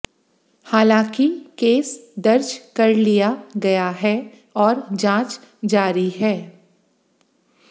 हालांकि केस दर्ज कर लिया गया है और जांच जारी है